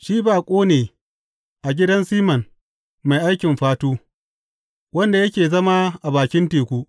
Shi baƙo ne a gidan Siman mai aikin fatu, wanda yake zama a bakin teku.’